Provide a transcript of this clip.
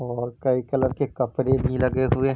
और कई कलर के कपड़े भी लगे हुए--